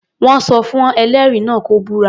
Wọ́n sọ fún ẹlẹ́rìí náà kó búra.